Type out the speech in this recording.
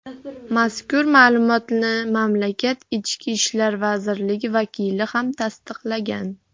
Mazkur ma’lumotni mamlakat ichki ishlar vazirligi vakili ham tasdiqlagan.